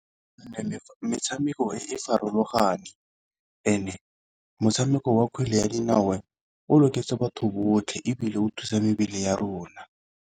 Metshameko e farologane, and-e motshameko wa kgwele ya dinao o loketse batho botlhe ebile o thusa mebele ya rona.